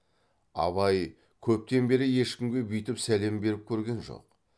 абай көптен бері ешкімге бүйтіп сәлем беріп көрген жоқ